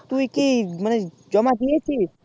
তুই কি মানে জমা দিয়েছিস